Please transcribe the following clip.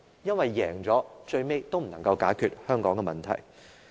因為，即使這樣勝出了，最後也是無法解決香港的問題的。